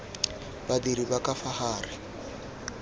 badiri ba ka fa gare